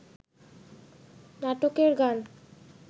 নাটকের গান